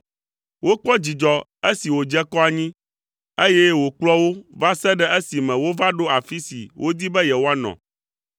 Wokpɔ dzidzɔ esi wòdze kɔ anyi, eye wòkplɔ wo va se ɖe esime wova ɖo afi si wodi be yewoanɔ.